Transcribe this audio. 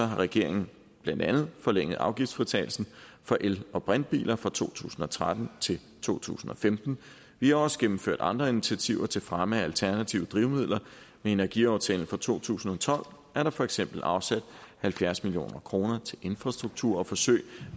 har regeringen blandt andet forlænget afgiftsfritagelsen for el og brintbiler fra to tusind og tretten til to tusind og femten vi har også gennemført andre initiativer til fremme af alternative drivmidler med energiaftalen for to tusind og tolv er der for eksempel afsat halvfjerds million kroner til infrastruktur og forsøg